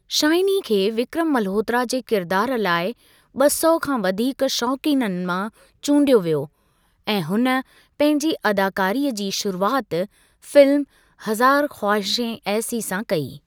Shiny खे विक्रम मल्होत्रा जे किरिदारु लाइ ॿ सौ खां वधीक शौक़ीननि मां चूंडियो वियो ऐं हुन पंहिंजी अदाकारीअ जी शुरूआति फिल्म' हज़ार ख़्वाहिशें ऐसी 'सां कई।